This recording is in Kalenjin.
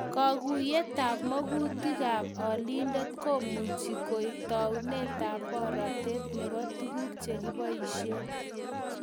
Kaguyetab magutik ab olindet komuchi koek taunetab boratet nebo tuguk chekiboishee